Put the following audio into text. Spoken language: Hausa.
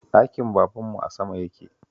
Ɗakin babanmu a sama yake